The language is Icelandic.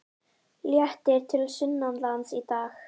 Léttir til sunnanlands í dag